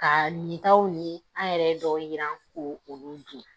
Ka ni taw ni an yɛrɛ dɔw jiran ko olu den